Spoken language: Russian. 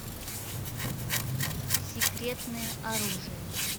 секретное оружие